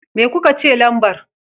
Me kuka ce lambar?